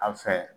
An fɛ